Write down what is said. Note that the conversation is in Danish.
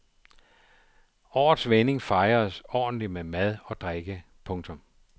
Årets vending fejredes ordentligt med mad og drikke. punktum